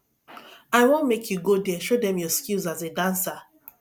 i wan make you go there show dem your skills as a dancer